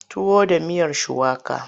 Tuwo da miyar shuwaka.